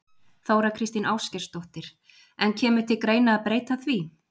Þóra Kristín Ásgeirsdóttir: En kemur til greina að breyta því?